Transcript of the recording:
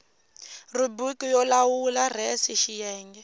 rhubiriki yo lawula res xiyenge